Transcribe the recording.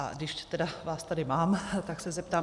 A když tedy vás tady mám, tak se zeptám.